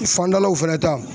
Fandalaw fɛnɛ ta